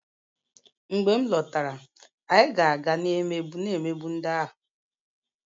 Mgbe m lọtara, anyị ga-aga na-emegbu ndị ahụ